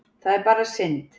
Það er bara synd